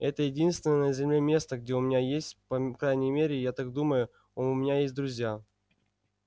это единственное на земле место где у меня есть по крайней мере я так думаю у меня есть друзья